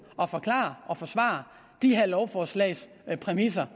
og forklare og forsvare de her lovforslags præmisser